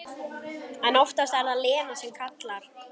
En oftast er það Lena sem kallar.